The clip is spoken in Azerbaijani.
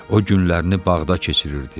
O günlərini bağda keçirirdi.